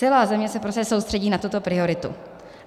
Celá země se prostě soustředí na tuto prioritu.